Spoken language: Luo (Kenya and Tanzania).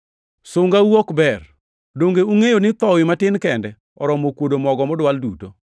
Sungau ok ber. Donge ungʼeyo ni thowi matin kende oromo kuodo mogo modwal duto?